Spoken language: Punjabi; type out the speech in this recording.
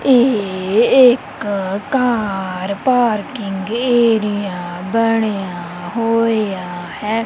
ਇਹ ਇੱਕ ਕਾਰ ਪਾਰਕਿੰਗ ਏਰੀਆ ਬਣਿਆ ਹੋਇਆ ਹੈ।